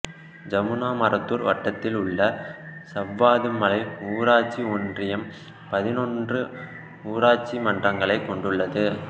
ஜமுனாமரத்தூர் வட்டத்தில் உள்ள சவ்வாது மலை ஊராட்சி ஒன்றியம் பதினொன்று ஊராட்சி மன்றங்களை கொண்டுள்ளது